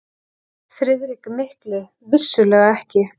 FRIÐRIK MIKLI: Vissulega ekki!